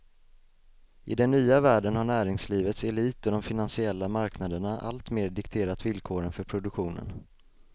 I den nya världen har näringslivets elit och de finansiella marknaderna alltmer dikterat villkoren för produktionen.